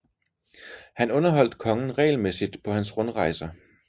Han underholdt kongen regelmæssigt på hans rundrejser